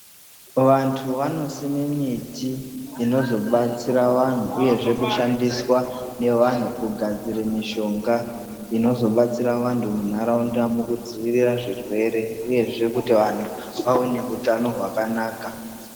Vantu vanosime miti inozobatsira vanhu uyezve kushandiswa nevanhu kugadzire mishonga inozobatsira vantu muntaraunda mukudzivirira zvirwere uyezve kuti vanhu vaone utano hwakanaka.